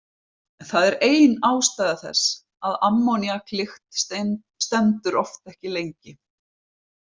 Það er ein ástæða þess að ammóníaklykt stendur oft ekki lengi.